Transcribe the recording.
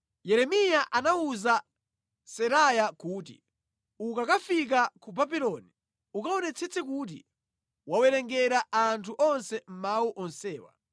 Yeremiya anawuza Seraya kuti, “Ukakafika ku Babuloni, ukaonetsetse kuti wawawerengera anthu onse mawu onsewa.